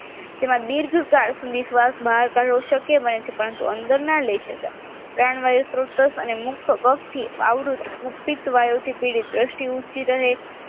જેમાં દીર્ઘકાળ સુધી શ્વાસ બહાર કાઢવો શક્ય બને છે પરંતુ અંદર ના લઈ શકાય પ્રાણ વાયુ સ્ત્રોત અને મુક્ત કપ થી આવૃત કુપ્પીત વાયુથી પીડિત દ્રષ્ટિ ઊંચી રહે